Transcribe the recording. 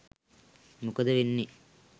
මොකද වෙන්නේ.